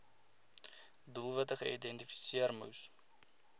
doelwitte geïdentifiseer moes